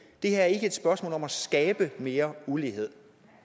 det her er ikke et spørgsmål om at skabe mere ulighed